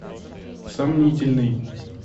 сомнительный